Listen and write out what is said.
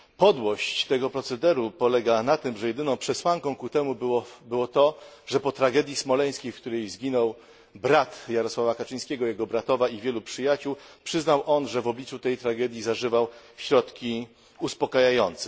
Podłość tego procederu polega na tym, że jedyną przesłanką ku temu było to, że po tragedii smoleńskiej, w której zginął brat Jarosława Kaczyńskiego, jego bratowa i wielu przyjaciół, przyznał on, że w obliczu tej tragedii zażywał środku uspokajające.